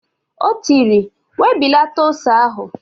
O tiri, "webilata ose ahụ"!